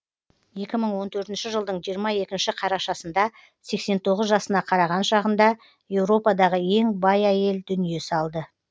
екі мың он төртінші жылдың жиырма екінші қарашасында сексен тоғыз жасына қараған шағында еуропадағы ең бай әйел дүние салды